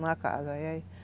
Em uma casa.